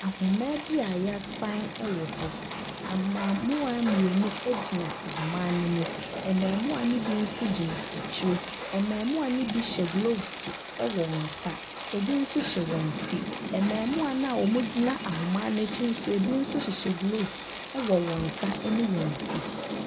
Ahoma bi a yasaen ɛwɔ hɔ. Ɛmbɛɛmua mienu egyina ahoma ne mu. Ɛmbɛɛmua ne bi so gyina ekyire. Ɛmbɛɛmua ne bi hyɛ glovs ɛwɔ wɔn nsa ebi so hyɛ wɔn ti. Ɛmbɛɛmua na ɔmo gyina ahoma n'ekyi so ebi so hyehyɛ glovs ɛwɔ wɔn sa ɛne wɔn ti.